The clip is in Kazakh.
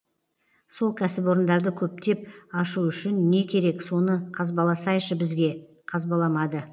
сол кәсіпорындарды көптеп ашу үшін не керек соны қазбаласайшы бізге қазбаламады